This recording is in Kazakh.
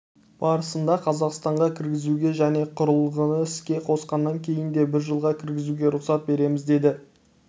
барысында қазақстанға кіргізуге және құрылғыны іске қосқаннан кейін де бір жылға кіргізуге рұқсат береміз деді